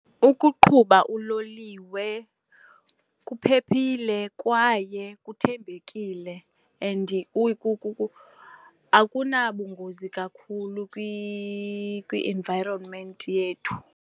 Ukuqhuba uloliwe kuphephile kwaye kuthembekile and akunabungozi kakhulu kwi-environment yethu.